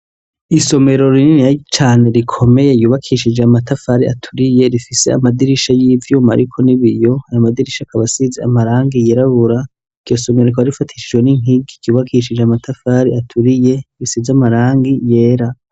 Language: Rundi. Isomero rininiya cane rikomeye yubakishije amatafari aturiye rifise amadirisha y'ivyuma ariko n'ibiyo, ayo madirisha akaba asize amarangi yirabura. Iryo somero rikaba rifatishijwe n'inkigi ryubakishije amatafari aturiye, risize amarangi yera.